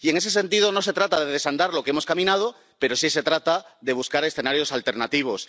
Y, en ese sentido, no se trata de desandar lo que hemos caminado, pero sí se trata de buscar escenarios alternativos.